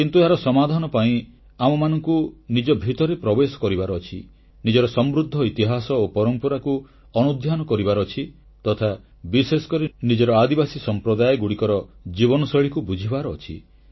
କିନ୍ତୁ ଏହାର ସମାଧାନ ପାଇଁ ଆମମାନଙ୍କୁ ନିଜ ଭିତରେ ପ୍ରବେଶ କରିବାର ଅଛି ନିଜର ସମୃଦ୍ଧ ଇତିହାସ ଓ ପରମ୍ପରାକୁ ଅନୁଧ୍ୟାନ କରିବାର ଅଛି ତଥା ବିଶେଷକରି ନିଜର ଆଦିବାସୀ ସମ୍ପ୍ରଦାୟଗୁଡ଼ିକର ଜୀବନଶୈଳୀକୁ ବୁଝିବାର ଅଛି